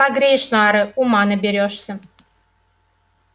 погреешь нары ума наберёшься